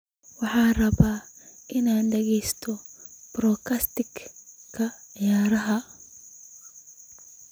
Waxaan rabaa inaan dhageysto podcast-ka ciyaaraha